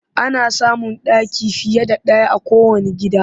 Ana samun ɗaki fiye da ɗaya a kowanne gida